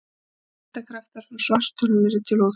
Þyngdarkraftar frá svartholinu yrðu til óþæginda.